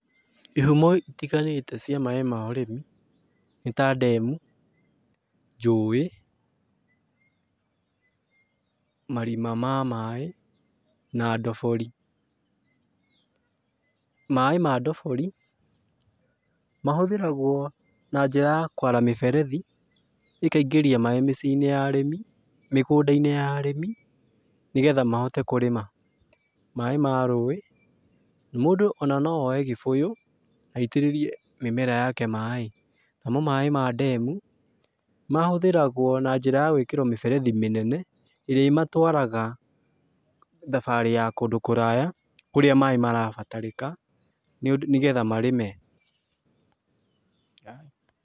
Ihumo itiganĩte cia maaĩ ma ũrĩmi, nĩ ta ndemu, njũĩ, marima ma maaĩ, na ndobori. Maaĩ ma ndobori mahũthĩragwo na njĩra ya kwara mĩberethi, ĩkaingĩria maaĩ mĩciĩ-inĩ ya arĩmi, mĩgũnda-inĩ ya arĩmi, nĩgetha mahote kũrĩma. Maaĩ ma rũĩ, mũndũ ona no oye gĩbũyũ aitĩrĩrie mĩmera yake maaĩ. Namo maaĩ ma ndemu, mahũthĩragwo na njĩra ya gwĩkĩrwo mĩberethi mĩnene, ĩrĩa ĩmatwaraga thabarĩ ya kũndũ kũraya, kũrĩa maaĩ marabatarĩka, nĩgetha marĩme.